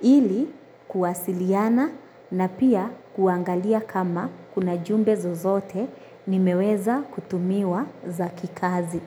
ili kuwasiliana na pia kuangalia kama kuna jumbe zozote nimeweza kutumiwa za kikazi.